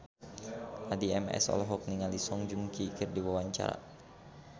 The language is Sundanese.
Addie MS olohok ningali Song Joong Ki keur diwawancara